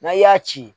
N'a y'a ci